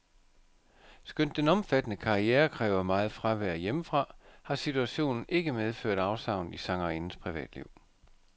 Skønt den omfattende karriere kræver meget fravær hjemmefra, har situationen ikke medført afsavn i sangerindens privatliv.